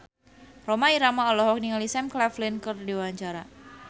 Rhoma Irama olohok ningali Sam Claflin keur diwawancara